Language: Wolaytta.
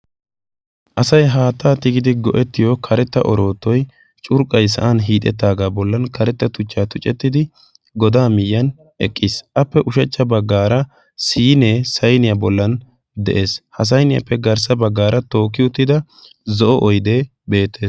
asai haattaa tigidi go7ettiyo karetta orootoi curqqai sa7an hiixettaagaa bollan karetta tuchchaa tucettidi godaa miyyan eqqiis. appe ushachcha baggaara siinee sainiyaa bollan de7ees ha sainiyaappe garssa baggaara tookki uttida zo7o oide beettes.